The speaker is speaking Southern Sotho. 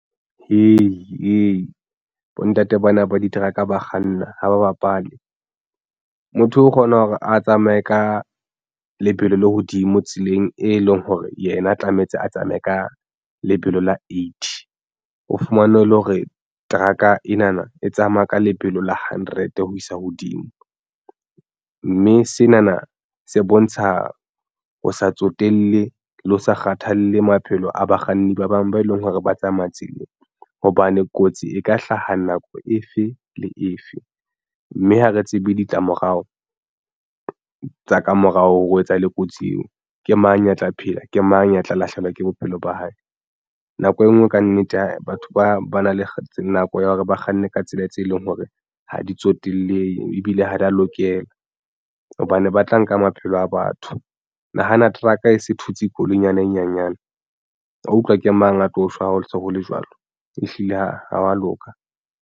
Hei, bontate bona ba di-truck ba kganna ha ba bapale motho o kgona hore a tsamaye ka lebelo le hodimo tseleng e leng hore yena tlamehetse a tsamaye ka lebelo la eighty o fumane e le hore teraka ena na e tsamaya ka lebelo la hundred ho isa hodimo, mme sena na se bontsha ho sa tsotelle le ho sa kgathalle maphelo a bakganni ba bang ba e leng hore ba tsamaya tseleng hobane kotsi e ka hlaha nako efe le efe mme ha re tsebe ditlamorao tsa kamorao ho etsahala kotsi eo ke mang ya tla phela ke mang ya tla lahlehelwa ke bophelo ba hae nako e nngwe? Kannete ha batho ba ba na le nako ya hore ba kganne ka tsela tse leng hore ha di tsotellehe ebile ha di ya lokela hobane ba tla nka maphelo a batho. Nahana trucker e se thutse koloi nyana e nyanyane wa utlwa ke mang a tlo shwa ha ho se ho le jwalo ehlile ha wa loka.